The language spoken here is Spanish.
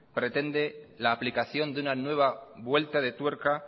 pretende la aplicación de una nueva vuelta de tuerca